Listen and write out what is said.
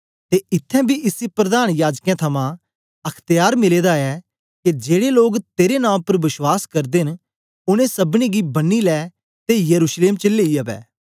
ते इत्थैं बी इसी प्रधान याजकें थमां अख्त्यार मिले दा ऐ के जेड़े लोग तेरे नां उपर बश्वास करदे न उनै सबनीं गी बन्नी लै ते यरूशलेम च लेई अवै